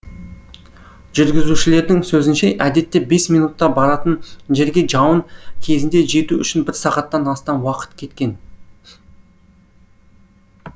жүргізушілердің сөзінше әдетте бес минутта баратын жерге жауын кезінде жету үшін бір сағаттан астам уақыт кеткен